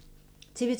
TV 2